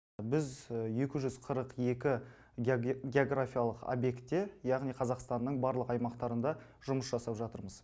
біз екі жүз қырық екі географиялық объектте яғни қазақстанның барлық аймақтарында жұмыс жасап жатырмыз